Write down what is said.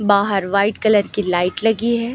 बाहर white colour की light लगी है।